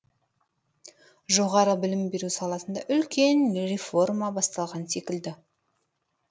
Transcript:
жоғары білім беру саласында үлкен реформа басталған секілді